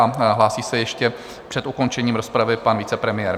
A hlásí se ještě před ukončením rozpravy pan vicepremiér.